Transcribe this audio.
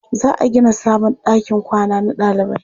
Za a gina sabon ɗakin kwana na ɗalibai.